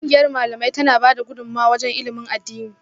Kungiyar Malamai tana bada gudumawa wajen ilimin addini